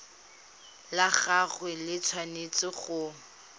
la gagwe le tshwanetse go